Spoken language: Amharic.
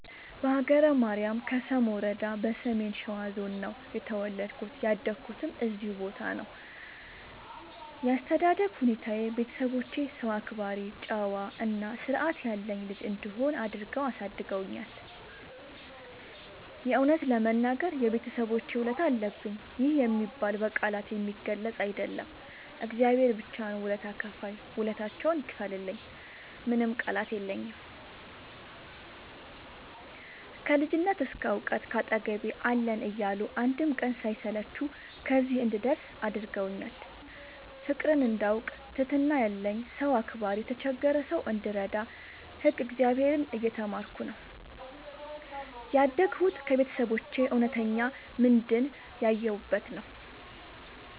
በሀገረ ማርያም ከሰም ወረዳ በሰሜን ሸዋ ዞን ነው የተወለድኩት ያደኩትም እዚሁ ቦታ ነው። ያስተዳደግ ሁኔታዬ ቤተሰቦቼ ሰው አክባሪ ጨዋ እና ስርዐት ያለኝ ልጅ እንድሆን አድርገው አሳድገውኛል። የእውነት ለመናገር የቤተሰቦቼ ውለታ አለብኝ ይህ የሚባል በቃላት የሚገለፅ አይደለም እግዚአብሔር ብቻ ነው ውለታ ከፍይ ውለታቸውን ይክፈልልኝ ምንም ቃላት የለኝም። ከልጅነት እስከ ዕውቀት ካጠገቤ አለን እያሉ አንድም ቀን ሳይሰለቹ ከዚህ እንድደርስ አድርገውኛል። ፍቅርን እንዳውቅ ትህትና ያለኝ ሰው አክባሪ የተቸገረ ሰው እንድረዳ ህግ እግዚአብሔርን እየተማርኩ ነው ያደግሁት ከቤተሰቦቼ እውነተኛ ምንድን ያየሁበት ነው።